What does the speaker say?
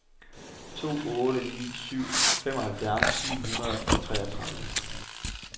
to otte ni syv femoghalvfems ni hundrede og treogtredive